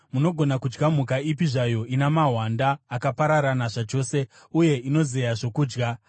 Munogona kudya mhuka ipi zvayo ina mahwanda, akapararana zvachose, uye inozeya zvokudya.